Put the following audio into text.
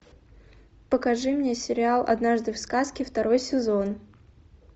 покажи мне сериал однажды в сказке второй сезон